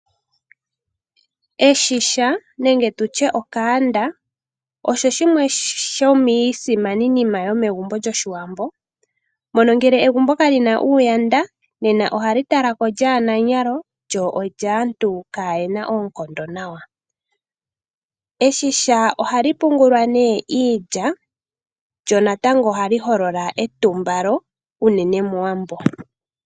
Eshisha osho shimwe shomiisimani nima yomegumbo lyOshiwambo. Mono ngele egumbo ka li na eshisha nena ohali talwa ko lyaananyalo lyo olyaantu kaayena oonkondo nawa. Eshisha ohali pungulwa nee iilya lyo natangobohali holola etumbalo unene mOwambo.